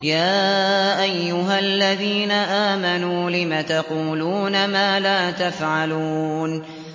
يَا أَيُّهَا الَّذِينَ آمَنُوا لِمَ تَقُولُونَ مَا لَا تَفْعَلُونَ